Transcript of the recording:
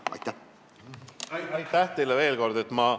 Aitäh teile veel kord!